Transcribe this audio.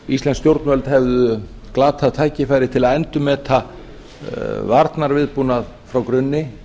íslensk stjórnvöld hefðu glatað tækifæri til að endurmeta varnarviðbúnað frá grunni